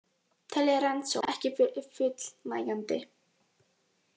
Telja rannsókn ekki fullnægjandi